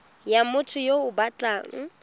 ya motho yo o batlang